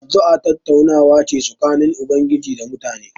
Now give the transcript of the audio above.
Addu'a tattaunawa ce tsakanin Ubangiji da mutane.